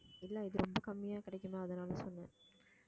எல்லாம் இது ரொம்ப கம்மியா கிடைக்குமா அதனால சொன்னேன்